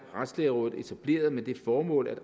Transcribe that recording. retslægerådet etableret med det formål at